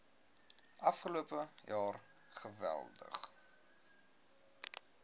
afgelope jaar geweldig